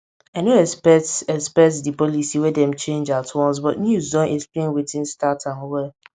i nor expect expect di policy wey dem change at once but news don explain wetin start am well